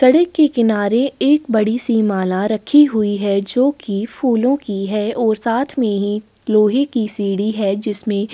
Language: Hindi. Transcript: सड़क के किनारे एक बड़ी सी माला रखी हुई है। जोकि फूलो की है और साथ में ही लोहे की सीढ़ी है जिसमें --